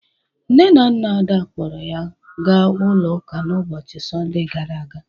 Nne na nna Ada kpọrọ ya ga ụlọ ụka n'ụbọcịi Sọnde gara aga